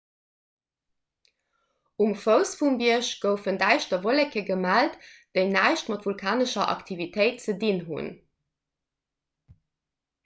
um fouss vum bierg goufen däischter wolleke gemellt déi näischt mat vulkanescher aktivitéit ze dinn hunn